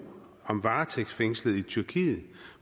om varetægtsfængslede i tyrkiet